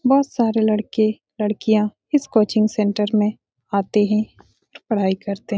बोहोत सारे लड़के लड़कियां इस कोचिंग सेंटर में आते हैं पढ़ाई करते हैं।